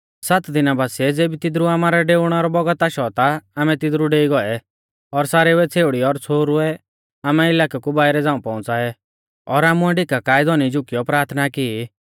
सात दिना बासीऐ ज़ेबी तिदरु आमारै डेउणै रौ बौगत आशौ ता आमै तिदरु डेई गौऐ और सारेउऐ छ़ेउड़ी और छ़ोहरुऐ आमै इलाकै कु बाइरै झ़ांऊ पौउंच़ाऐ और आमुऐ ढिका काऐ धौनी झुकियौ प्राथना की